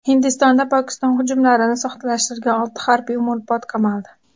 Hindistonda Pokiston hujumlarini soxtalashtirgan olti harbiy umrbod qamaldi.